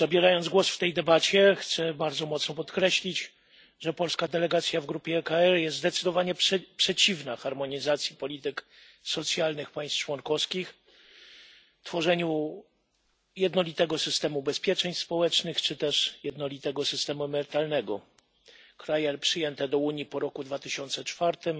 Zabierając głos w tej debacie, chcę bardzo mocno podkreślić, że polska delegacja w grupie ECR jest zdecydowanie przeciwna harmonizacji polityk socjalnych państw członkowskich, tworzeniu jednolitego systemu ubezpieczeń społecznych, czy też jednolitego systemu emerytalnego. Kraje przyjęte do Unii po 2004